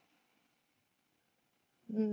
हम्म